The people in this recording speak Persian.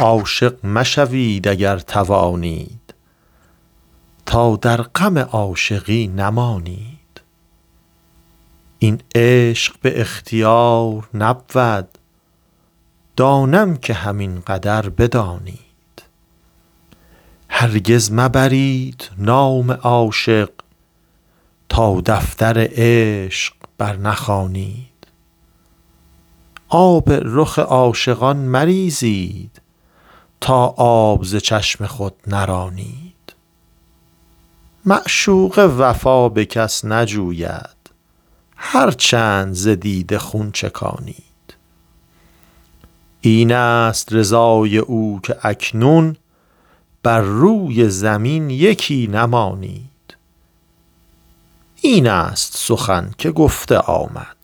عاشق مشوید اگر توانید تا در غم عاشقی نمانید این عشق به اختیار نبود دانم که همین قدر بدانید هرگز مبرید نام عاشق تا دفتر عشق بر نخوانید آب رخ عاشقان مریزید تا آب ز چشم خود نرانید معشوقه وفا به کس نجوید هر چند ز دیده خون چکانید این است رضای او که اکنون بر روی زمین یکی نمانید این است سخن که گفته آمد